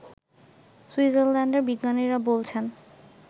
সুইজারল্যান্ডের বিজ্ঞানীরা বলছেন